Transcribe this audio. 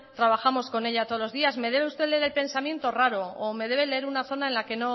trabajamos con ella todos los días me debe usted leer el pensamiento raro o me debe leer una zona en la que